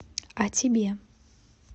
а тебе